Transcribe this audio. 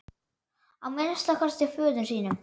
Að minnsta kosti föður sínum.